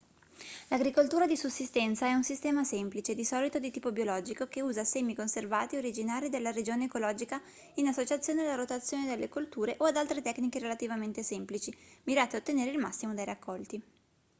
l'agricoltura di sussistenza è un sistema semplice di solito di tipo biologico che usa semi conservati originari della regione ecologica in associazione alla rotazione delle colture o ad altre tecniche relativamente semplici mirate a ottenere il massimo dai raccolti